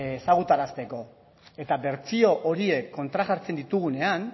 ezagutarazteko eta bertsio horiek kontrajartzen ditugunean